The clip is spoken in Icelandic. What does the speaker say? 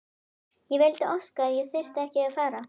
Ég vildi óska að ég þyrfti ekki að fara.